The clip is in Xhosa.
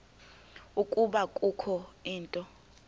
ukuba kukho into